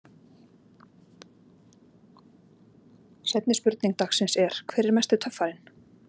Seinni spurning dagsins er: Hver er mesti töffarinn?